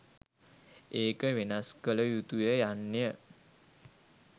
ඒක වෙනස් කළ යුතුය යන්න